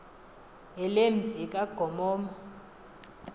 hele mzi kagomomo